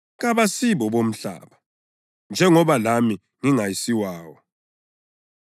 Kabasibo bomhlaba, njengoba lami ngingasiwawo.